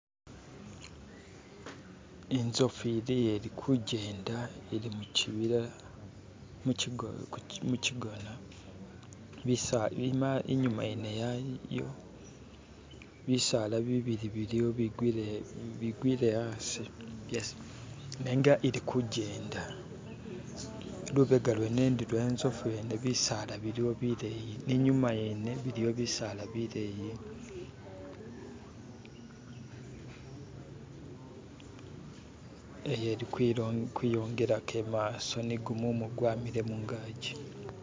inzofu iliya ilikujenda ili mukyibila mukyigona inyuma yene yayo bisaala bibili biliwo bigwile asi nenga ilikujenda lubega lwene ndi lwenzofu yene bisaala biliyo bileyi ninyuma yene biliwo bisaala bileyi iyelikwiyongelako imaso nigumumu gwamile mungaji